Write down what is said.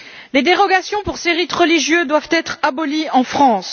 Les dérogations pour ces rites religieux doivent être abolies en France.